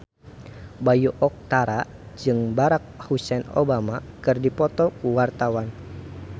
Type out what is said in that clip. Bayu Octara jeung Barack Hussein Obama keur dipoto ku wartawan